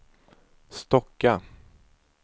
Stocka